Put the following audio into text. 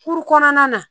Kuru kɔnɔna na